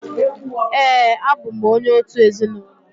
Ee, abụ m onye òtù ezinụlọ